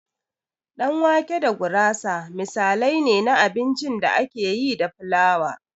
Ɗan wake da gurasa misalai ne na abincin da ake yi da flawa.